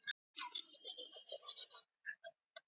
Jóhann: Er þetta mikið?